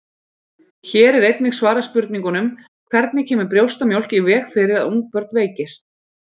Hér er einnig svarað spurningunum: Hvernig kemur brjóstamjólk í veg fyrir að ungbörn veikist?